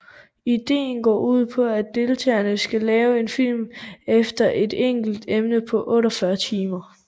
Ideen går ud på at deltagerne skal lave en film efter et enkelt emne på 48 timer